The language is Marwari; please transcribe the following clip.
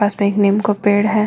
पास में एक निम् को पेड़ है।